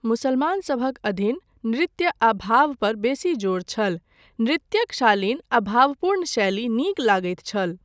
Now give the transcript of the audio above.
मुसलमानसभक अधीन, नृत्य आ भवग पर बेसी जोर छल, नृत्यक शालीन आ भावपूर्ण शैली नीक लगैत छल।